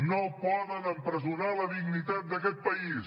no poden empresonar la dignitat d’aquest país